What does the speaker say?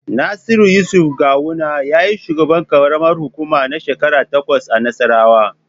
Nasiru yusuf gawuna yayi shugaban Karamar hukuma na shekara takwas a nassarawa